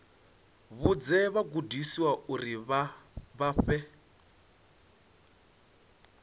vhudze vhagudiswa uri vha fhe